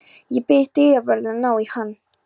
Ég bið dyravörðinn að ná í hann.